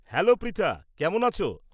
Hello Pritha. কেমন আছো?